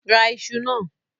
Ra iṣu náà!